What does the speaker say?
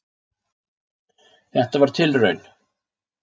Þetta var tilraun.